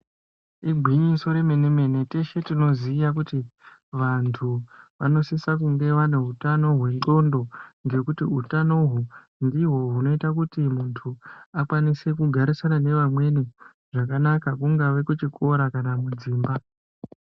Igwinyiso remenemene teshe tinoziya kuti vantu vanosise kunge vane hutano hwenxlondo ngekuti utano uhu ndihwo hunoite kuti muntu akwanise kugarisana nevamweni zvakanaka kungave kuchikora kana mudzimba.